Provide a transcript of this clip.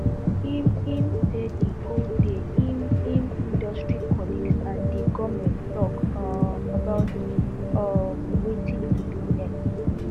im im say di whole day im im industry colleagues and di goment tok um about um wetin to do next